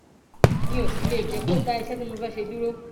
mi ò sì lè jẹ kó dá iṣẹ tí mo fẹẹ ṣe dúró